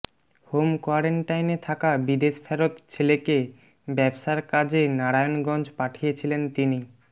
home কোয়ারেন্টাইনে থাকা বিদেশ ফেরত ছেলেকে ব্যবসার কাজে নারায়ণগঞ্জ পাঠিয়েছিলেন তিনি